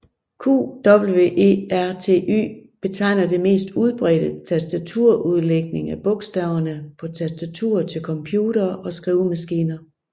QWERTY betegner det mest udbredte tastaturudlægning af bogstaverne på tastaturer til computere og skrivemaskiner